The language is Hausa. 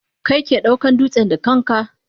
Kai ke daukan dutsen da kanka?